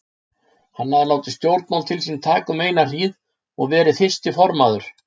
Hann hafði látið stjórnmál til sín taka um eina hríð og verið fyrsti formaður